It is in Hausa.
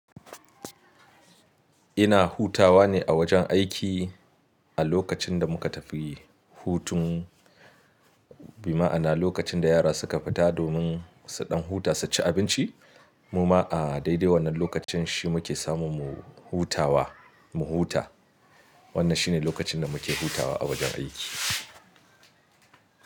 Ina hutawa ne a wajen aiki a lokacin da muka tafi hutun, bima'ana lokacin da yara suka fita domin su ɗan huta su ci abinci. Mu ma a daidai wannan lokacin shi muke samun mu hutawa, mu huta. Wannan shi ne lokacin da muke hutawa a wajen aiki.